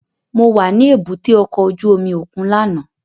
Mo wa ni èbúté ọkọ ojú omi okun làná